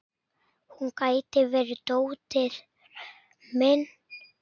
Hún gæti verið dóttir mín.